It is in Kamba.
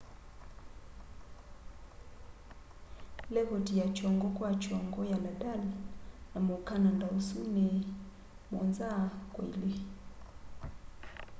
lekoti ya kyongo kwa kyongo ya nadal na muukananda usu ni 7-2